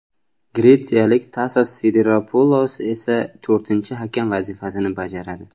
Gretsiyalik Tasos Sidiropulos esa to‘rtinchi hakam vazifasini bajaradi.